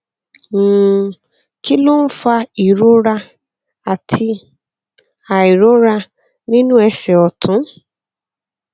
um kí ló ń fa ìrora àti àìróra nínú ẹsè òtún